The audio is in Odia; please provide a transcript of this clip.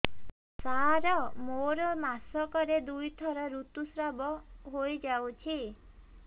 ସାର ମୋର ମାସକରେ ଦୁଇଥର ଋତୁସ୍ରାବ ହୋଇଯାଉଛି